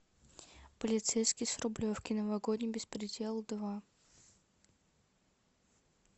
полицейский с рублевки новогодний беспредел два